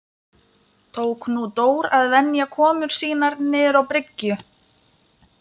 Tók nú Dór að venja komur sínar niður á bryggju.